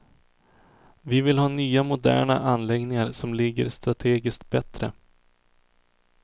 Vi vill ha nya moderna anläggningar som ligger strategiskt bättre.